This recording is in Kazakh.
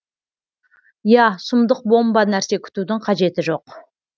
иә сұмдық бомба нәрсе күтудің қажеті жоқ